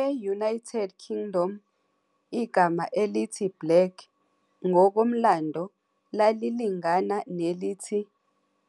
E-United Kingdom, igama elithi "black" ngokomlando lalilingana nelithi